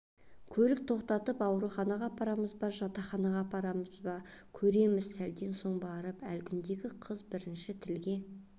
көліе тоқтатып ауруханаға апарамыз ба жатақханаға апарамыз ба көреміз сәлден соң барып әлгіндегі қыз бірінші тілге